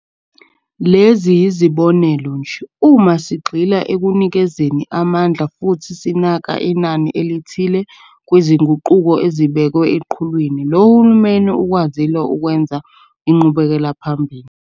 Lezi yizibonelo nje, uma sigxila ekunikezeni amandla futhi sinaka inani elithile kwizinguquko ezibekwe eqhulwini, lo hulumeni ukwazile ukwenza inqubekelaphambili.